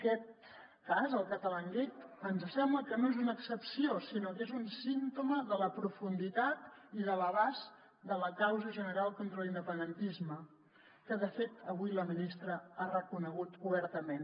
aquest cas el catalangate ens sembla que no és una excepció sinó que és un símptoma de la profunditat i de l’abast de la causa general contra l’independentisme que de fet avui la ministra ha reconegut obertament